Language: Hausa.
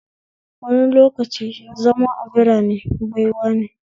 Wani lokaci zama a birarene baiwane